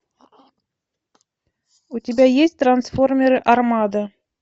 у тебя есть трансформеры армада